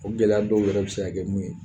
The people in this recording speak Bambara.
O gɛlɛya dɔw yɛrɛ bi se ka kɛ mun ye